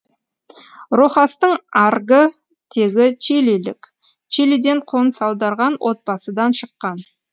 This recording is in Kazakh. рохастың аргы тегі чилилік чилиден қоныс аударған отбасыдан шыққан